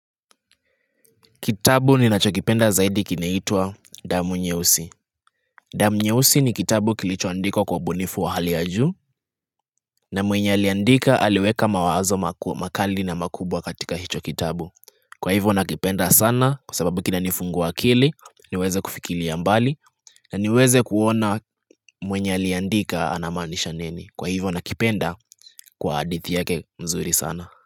Kitabu ninachokipenda zaidi kinaitwa damu nyeusi. Damu nyeusi ni kitabu kilichoandikwa kwa ubunifu wa hali ya juu, na mwenye aliandika aliweka mawazo makali na makubwa katika hicho kitabu. Kwa hivyo nakipenda sana kwa sababu kinanifungua akili, niweze kufikiria mbali, na niweze kuona mwenye aliandika anamaanisha nini. Kwa hivyo nakipenda kwa hadithi yake nzuri sana.